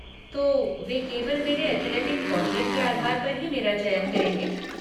तो, वे केवल मेरे एथलेटिक कौशल के आधार पर ही मेरा चयन करेंगे?